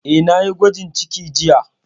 Eh, na yi gwajin ciki jiya